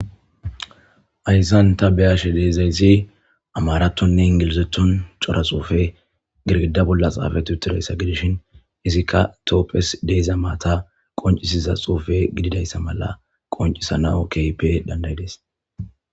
Hayssan ta beyashe deezayssi amaratonne ingilizetton cora xuufe girgida bolla xaafatuttudayssa gidishin izikka toopphes deeza maata qoncisiza xuufe gididayssa mala qoncisanao kipe dandayides.